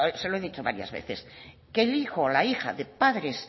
se lo he dicho varias veces que el hijo o la hija de padres